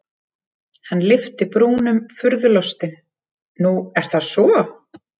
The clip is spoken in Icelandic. Hann lyfti brúnum furðulostinn:-Nú er það svo?